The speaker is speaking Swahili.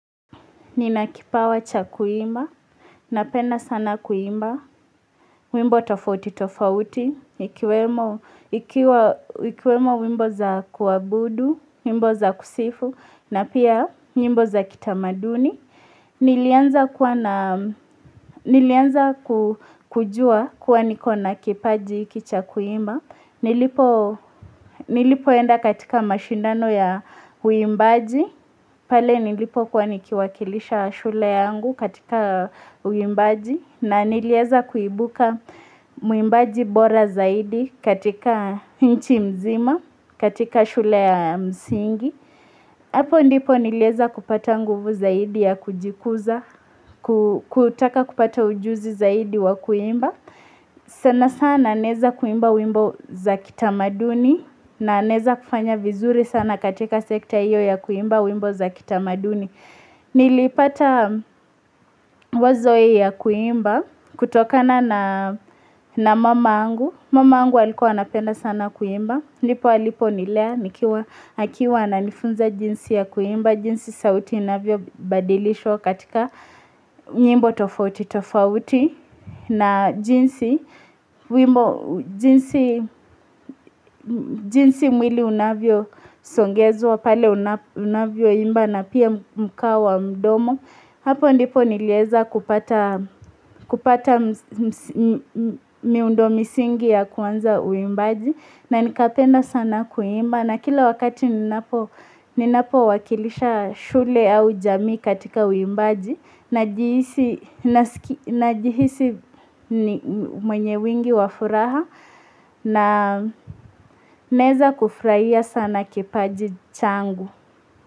Nina kipawa cha kuimba, napenda sana kuimba, wimbo tofauti tofauti, ikiwa ikiwemo wimbo za kuwabudu, wimbo za kusifu, na pia wimbo za kitamaduni nilianza ku Nilianza ku kujua kuwa niko na kipaji hiki cha kuimba nilipo Nilipoenda katika mashindano ya uimbaji pale nilipo kuwa nikiwakilisha shule yangu katika uimbaji na nilieza kuibuka mwimbaji bora zaidi katika nchi mzima katika shule ya msingi Hapo ndipo nilieza kupata nguvu zaidi ya kujikuza, ku kutaka kupata ujuzi zaidi wa kuimba sana sana naeza kuimba wimbo za kitamaduni na naeza kufanya vizuri sana katika sekta iyo ya kuimba wimbo za kitamaduni Nilipata wazo hii ya kuimba kutokana na mama yangu, mama yangu alikuwa anapenda sana kuimba ndipo alipo nilea nikiwa akiwa ananifunza jinsi ya kuimba, jinsi sauti inavyobadilishwa katika nyimbo tofauti tofauti na jinsi jinsi mwili unavyosongezwa pale una unavyoimba na pia mkao wa mdomo. Hapo ndipo nilieza kupata msi msi mmmh miundo misingi ya kuanza uimbaji na nikapenda sana kuimba na kila wakati ninapo ninapo wakilisha shule au jamii katika uimbaji najihisi naski najihisi mwenye wingi wafuraha na naeza kufurahia sana kipaji changu.